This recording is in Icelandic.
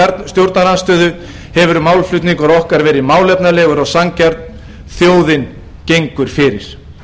stjórnarandstöðu hefur málflutningur okkar verið málefnalegur og sanngjarn þjóðin gengur fyrir